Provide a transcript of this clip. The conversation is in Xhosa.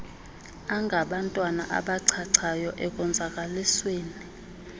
angabantwana abachachayo ekonzakalisweni